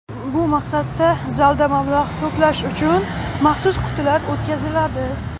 Bu maqsadda zalda mablag‘ to‘plash uchun maxsus qutilar o‘tkaziladi.